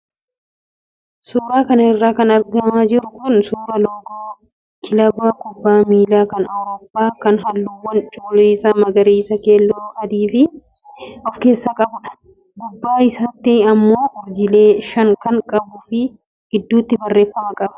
Suuraa kana irraa kan argaa jirru suuraa loogoo kilaba kubbaa miilaa kan Awuroppaa kan halluuwwan cuquliisa, magariisa, keelloo fi adii of keessaa qabudha. Gubbaa isaatti immoo urjiilee shan kan qabuu fi gidduutti barreeffama qaba.